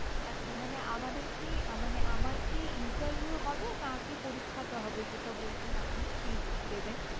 আচ্ছা মানে আমাদের কি মানে আমার কি interview হবে না আগে পরীক্ষাটা হবে? যেটা বলছেন আপনি sheet দেবেন।